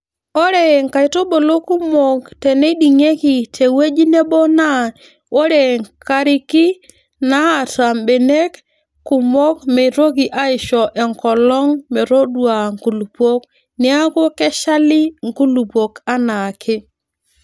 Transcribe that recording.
Ore nkaitubulu kumok teneiding'ieki te wueji Nebo naa ore nkariki naata mbenek kumok meitoki aisho enkolong metoduaa nkulupuok neeku keshali nkulupuok anaake.